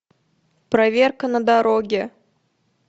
проверка на дороге